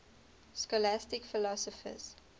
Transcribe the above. scholastic philosophers